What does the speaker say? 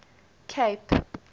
cape